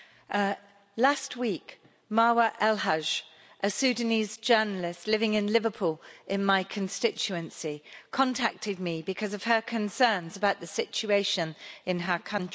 Mr President, last week, Marwa Elhaj, a Sudanese journalist living in Liverpool in my constituency, contacted me because of her concerns about the situation in her country.